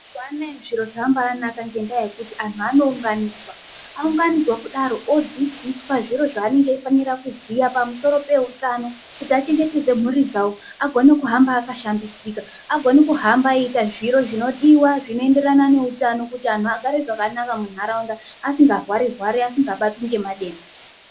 Mazuwa anaa zviro zvambaanaka ngendaa yekuti antu anounganidzwa, aunganidzwa kudaro odzidziswa zviro zvavanenge eifanirwa kuziva pamusoro peutano kuti achengetedza mhuri dzavo agone kuhamba akashambidzika. Agone kuhamba eeita zviro zvinodiwa zvinoenderana neutano kuti anhu agare zvakanaka munharaunda asingarwari rwari asingabatwi ngematenda.